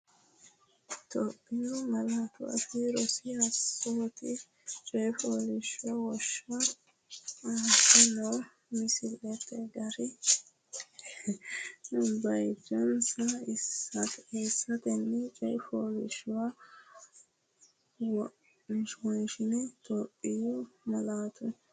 Itophiyu Malaatu Afii Roso Assoote Coyi fooliishsho wonsha Aante noo malaatta gari bayichinsara eessatenni coyi fooliishshuwa won- she Itophiyu Malaatu.